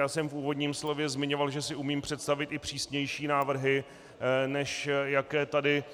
Já jsem v úvodním slově zmiňoval, že si umím představit i přísnější návrhy, než jaké tady